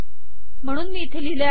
म्हणून मी हे इथे लिहिले आहे